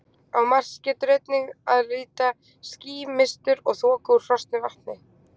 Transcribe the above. Á Mars getur einnig að líta ský, mistur og þoku úr frosnu vatni.